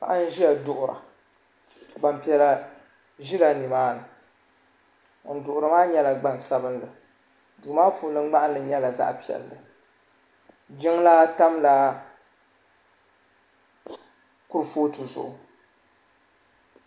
paɣ' n ʒɛya doɣira gbanpiɛlla ʒɛla ni maa ni ŋɔ doɣiri maa nyɛla gbansabinli do maa puuni gbahinli nyɛla zaɣ' sabinli jinlaa tamiya kuri ƒɔtɛ zuɣ'